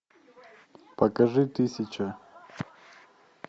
покажи тысяча